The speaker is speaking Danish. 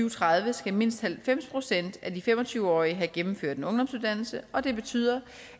og tredive skal mindst halvfems procent af de fem og tyve årige have gennemført en ungdomsuddannelse og det betyder